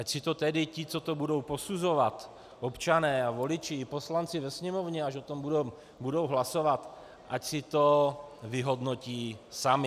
Ať si to tedy ti, co to budou posuzovat, občané a voliči i poslanci ve Sněmovně, až o tom budou hlasovat, ať si to vyhodnotí sami.